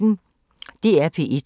DR P1